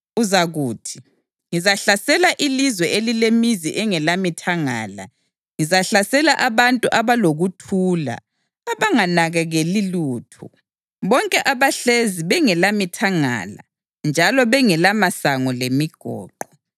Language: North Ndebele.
Uzakuthi, “Ngizahlasela ilizwe elilemizi engelamithangala; ngizahlasela abantu abalokuthula abanganakaneli lutho, bonke abahlezi bengelamithangala njalo bengelamasango lemigoqo.